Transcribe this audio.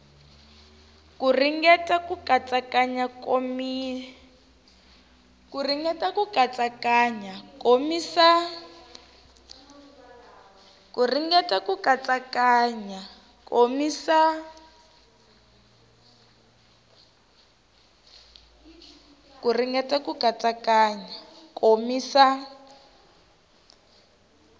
ku ringeta ku katsakanya komisa